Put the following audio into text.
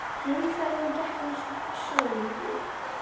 Heimferðin gekk eins og í sögu.